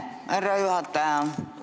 Aitäh, härra juhataja!